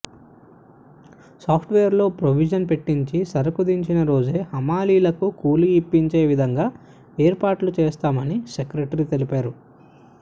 సాఫ్ట్వేర్లో ప్రొవిజన్ పెట్టించి సరుకు దించిన రోజే హమాలీలకు కూలీ ఇప్పించే విధంగా ఏర్పాట్లు చేస్తామని సెక్రటరీ తెలిపారు